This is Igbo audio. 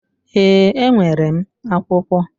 Ee, enwere m akwụkwọ.